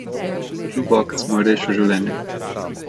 Džuboks mu je rešil življenje.